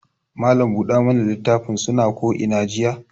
Mallam buɗa mana litafin suna ko ina jiya.